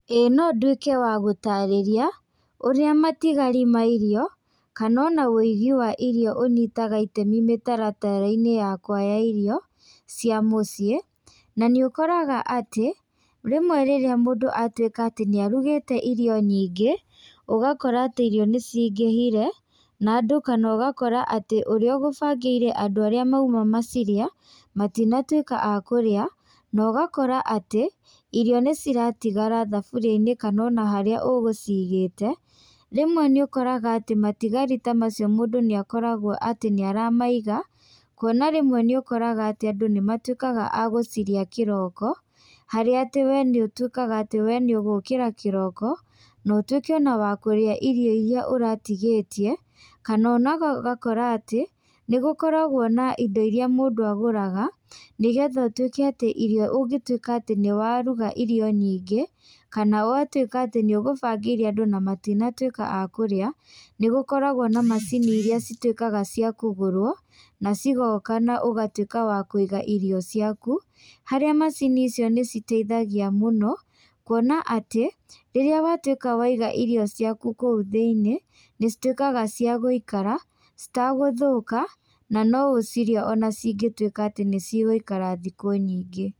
Ĩĩ no nduĩke wa gũtarĩria, ũrĩa matigari ma irio, kana ona wĩigi wa irio ũnyitaga itemi mĩtaratara-inĩ yakwa ya irio, cia mũciĩ. Na nĩ ũkoraga atĩ, rĩmwe rĩrĩa mũndũ atuĩka atĩ nĩ arugĩte irio nyingĩ, ũgakora atĩ irio nĩ cingĩhire, na andũ kana ũgakora atĩ ũrĩa ũgũbangĩire andũ arĩa mauma macirĩe, matinatuĩka a kũrĩa, na ũgakora atĩ, irio nĩ ciratigara thaburia-inĩ kana ona harĩa ũgũcigĩte. Rĩmwe nĩ ũkoraga atĩ matigarĩ ta macio mũndũ nĩ akoragwo atĩ nĩ aramaiga, kuona rĩmwe nĩ ũkoraga atĩ andũ nĩ matuĩkaga a gũcirĩa kĩroko, harĩa atĩ we nĩ ũtuĩkaga atĩ we nĩ ũgũkĩra kĩroko, na ũtuĩke ona wa kũrĩa irio irĩa ũratigĩtie. Kana ona ũgakora atĩ, nĩ gũkoragwo na indo irĩa mũndũ agũraga, nĩgetha ũtuĩke atĩ irio ũngĩtuĩka atĩ nĩ waruga irio nyingĩ, kana watuĩka atĩ nĩ ũgũbangĩire andũ na matinatuĩka a kũrĩa, nĩ gũkoragwo na macini irĩa cituĩkaga cia kũgũrwo, na cigoka na ũgatuĩka wa kũiga irio ciaku. Harĩa macini icio nĩ citeithagia mũno, kuona atĩ, rĩrĩa watuĩka waiga irio ciaku kũu thĩiniĩ, nĩ cituĩkaga cia gũikara, citagũthũka, na no ũcirĩe ona cingĩtuĩka atĩ nĩ cigũikara thikũ nyingĩ.